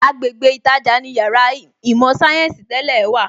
Agbègbè ītajà ni Yàrá īmò sayensi tẹ́lẹ̀ wà